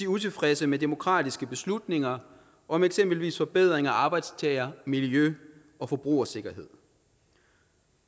utilfredse med demokratiske beslutninger om eksempelvis forbedring af arbejdstager miljø og forbrugersikkerhed